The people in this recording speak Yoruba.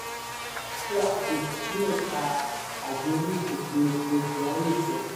iwà ọ̀kánjúà gogò ní ẹ̀ka agbọ́ni ìpèsè epo kyari sọ.